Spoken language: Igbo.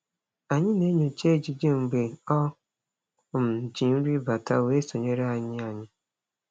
Anyị na-enyocha ejije mgbe o um ji nri bata wee sonyere anyị. anyị.